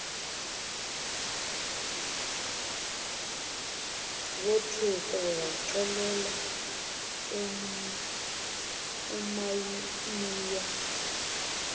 wothuka waxelela umamiya